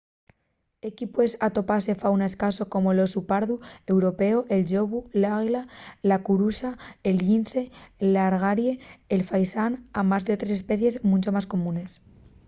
equí pue atopase fauna escaso como l’osu pardu européu el llobu l’águila la curuxa el llince l’algaire y el faisán amás d’otres especies muncho más comunes